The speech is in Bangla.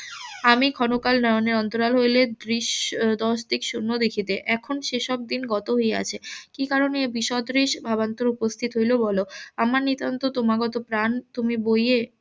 আমি ক্ষণকাল নয়নের অন্তরাল হইলে দৃশ~ দশদিক শুন্য দেখিতে এখন সে সব দিন গত হইয়াছে কি কারণে এই বিসদৃশ ভাবান্তর উপস্থিত হইলো বলো আমার নিতান্ত তোমাগত প্রাণ তুমি বইয়ে